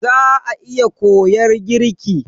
Za'a iya koyar girki.